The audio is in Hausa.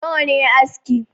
Nawa ne aski